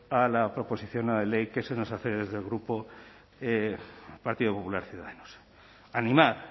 a la proposición no de ley que se nos hace desde el grupo partido popular ciudadanos animar